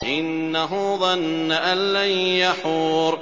إِنَّهُ ظَنَّ أَن لَّن يَحُورَ